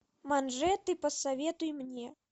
манжеты посоветуй мне